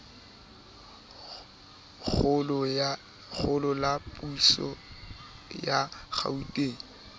kgolo la puso ya gauteng